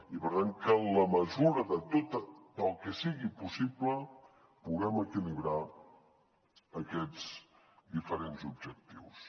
i per tant que en la mesura del que sigui possible puguem equilibrar aquests diferents objectius